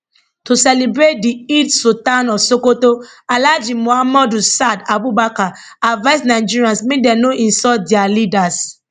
to celebrate di eid sultan of sokoto alhaji muhammadu saad abubakar advise nigerians make dem no insult dia leaders